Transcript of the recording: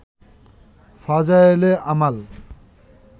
Fazaile Amal